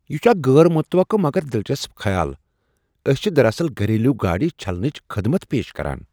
یہ چھ اکھ غیر متوقع مگر دلچسپ خیال۔ أسۍ چھ دراصل گھریلو گاڑِ چھلنٕچ خدمت پیش کران۔